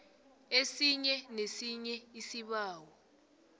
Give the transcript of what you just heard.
esinye nesinye isibawo